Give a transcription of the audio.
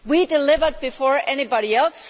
We delivered before anybody else.